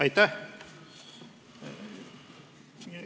Aitäh!